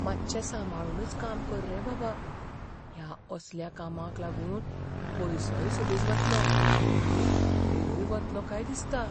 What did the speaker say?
मात्शें सांबाळुनूच काम कर रे बाबा. ह्या असल्या कामाक लागून पयसोय सुबेज वतलो आनी वेळय वतलो काय दिसता.